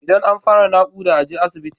Idan an fara nakuda aje asibit